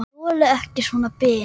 Þoli ekki svona bið.